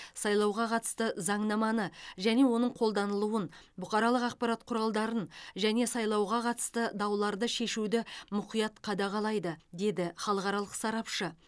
сайлауға қатысты заңнаманы және оның қолданылуын бұқаралық ақпарат құралдарын және сайлауға қатысты дауларды шешуді мұқият қадағалайды деді халықаралық сарапшы